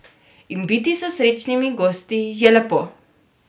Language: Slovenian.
In biti s srečnimi gosti je lepo.